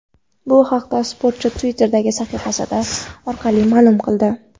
Bu haqda sportchi Twitter’dagi sahifasi orqali ma’lum qildi .